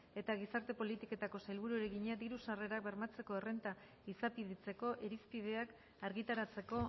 eta gizarte politiketako sailburuari egina diru sarrerak bermatzeko errenta izapidetzeko irizpideak argitaratzeko